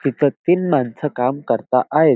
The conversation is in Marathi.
तिथं तीन मानस काम करता आहेत.